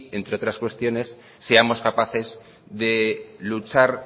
entre otras cuestiones seamos capaces de luchar